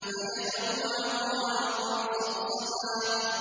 فَيَذَرُهَا قَاعًا صَفْصَفًا